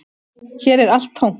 Hér er allt tómt